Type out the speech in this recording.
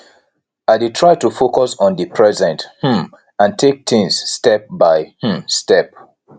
i dey try to focus on di present um and take things step by um step